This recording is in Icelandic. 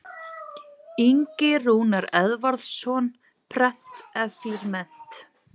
Ingi Rúnar Eðvarðsson, Prent eflir mennt.